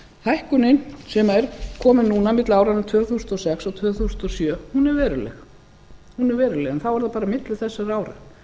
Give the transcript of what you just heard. hækkunin sem er komin núna milli áranna tvö þúsund og sex til tvö þúsund og sjö er veruleg en þá er það bara á milli þessara ára